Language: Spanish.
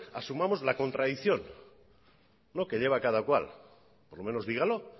asumamos la contradicción que lleva cada cual por lo menos dígalo